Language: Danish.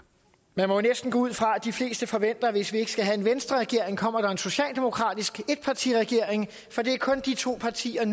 man må næsten gå ud fra at de fleste forventer at hvis vi ikke skal have en venstreregering kommer der en socialdemokratisk etpartiregering for det er kun de to partier